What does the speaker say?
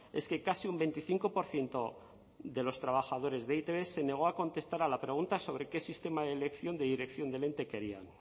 es que casi un veinticinco por ciento de los trabajadores de e i te be se negó a contestar a la pregunta sobre qué sistema de elección de dirección del ente querían